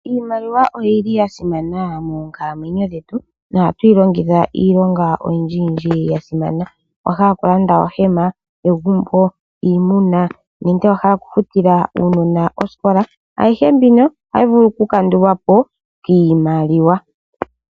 Iimaliwa oyi li ya simana moonkalamwenyo dhetu nohatu yi longitha iilonga oyindjiyindji yasimana